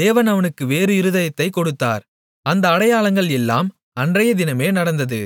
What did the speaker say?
தேவன் அவனுக்கு வேறு இருதயத்தைக் கொடுத்தார் அந்த அடையாளங்கள் எல்லாம் அன்றையதினமே நடந்தது